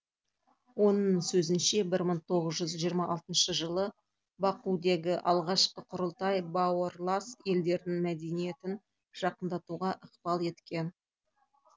оның сөзінше бір мың тоғыз жүз жиырма алтыншы жылы бакудегі алғашқы құрылтай бауырлас елдердің мәдениетін жақындатуға ықпал еткен